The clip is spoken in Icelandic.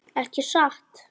Ekki satt.